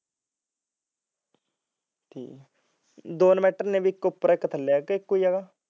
ਹਮ ਦੋ inverter ਨੇ ਇੱਕ ਉਪਰ ਇਕ ਥੇੱਲੇ ਇੱਕੋਂ ਹੈਗਾ